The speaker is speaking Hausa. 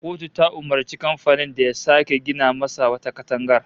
Kotu ta umurci kamfanin da ya sake gina masa wata katangar